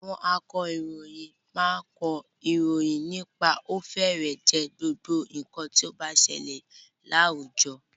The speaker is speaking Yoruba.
Àwọn akọ̀ròyìn máa kọ ìròyìn nípa ó fẹ́rẹ̀ẹ́ jẹ́ gbogbo nǹkan tí ó n ṣẹlẹ̀ ní àwùjọ.